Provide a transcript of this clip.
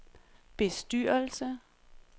bestyrelse